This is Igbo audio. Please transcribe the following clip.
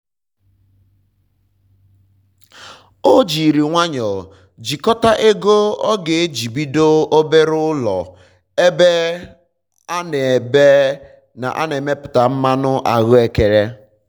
o jiri nwayọ jikọta ego ọ ga-eji bido obere ụlọ ebe a na ebe a na emepụta mmanụ ahụekere